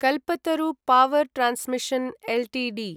Kalpataru Power Transmission Ltd